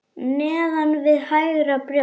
Neðan við hægra brjóst.